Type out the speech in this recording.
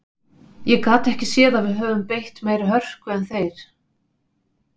Ég gat ekki séð að við höfum beitt meiri hörku en þeir.